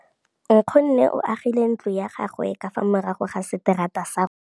Nkgonne o agile ntlo ya gagwe ka fa morago ga seterata sa rona.